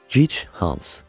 Gic Hans.